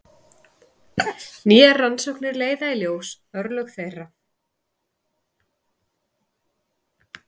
Nýjar rannsóknir leiða í ljós örlög þeirra.